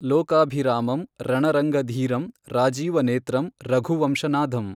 ಲೋಕಾಭಿರಾಮಂ ರಣರಂಗಧೀರಂ ರಾಜೀವನೇತ್ರಂ ರಘುವಂಶನಾಧಂ।